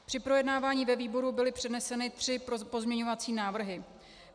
Při projednávání ve výboru byly předneseny tři pozměňovací návrhy.